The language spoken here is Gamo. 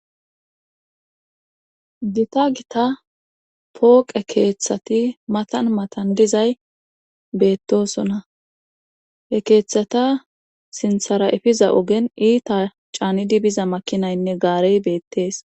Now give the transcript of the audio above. gita gita pooqe keeththati matan matan dizay beettosona he keeththata sinthara efiza ogen iita caanidi biza makinaynne gaarey beettees